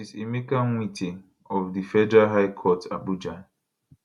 justice emeka nwite of di federal high court abuja